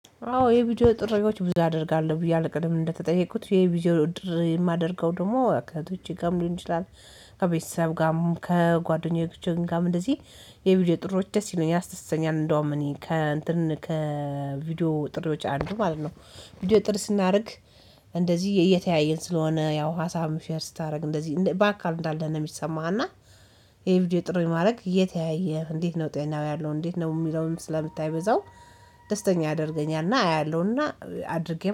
አዎ የቪዲዮ ጥሪዎች ብዙ አደርጋለሁ ብየአለሁ ቅድም እንደተጠየቁት የቪዲዮ ጥሪ የማደርገው ደግሞ ከእህቶቼ ጋር ሊሆን ይችላል። ከቤተሰብ ጋርም ከጓደኞቼ ጋርም እንደዚህ የቪዲዮ ጥሪዎች ደስ ይለኛል ያስደስተኛል እንደውም እኔ ከእንትን ከቪዲዮ ጥሪዎች አንዱ ማለት ነው። ቪዲዮ ጥሪ ስናደርግ። እንደዚህ እየተያየን ስለሆነ ያው ሀሳብም ሼር ስታደርግ እንደዚህ በአካል እንዳለህ ነው የሚሰማህ እና። የ ቪዲዮ ጥሪ ማድረግ እየተያየህ እንዴት ነው ጤናው ያለው እንዴት ነው የሚለውን ስለምታይ በዛው። ደስተኛ ያደርገኛል እና አያለሁና አድርጌም